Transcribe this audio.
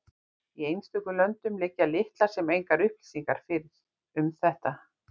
Í einstökum löndum liggja litlar sem engar upplýsingar fyrir um þetta.